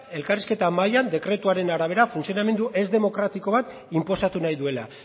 elkarrizketa mailan dekretuaren arabera funtzionamendu ez demokratiko bat inposatu nahi duela